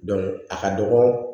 a ka dɔgɔ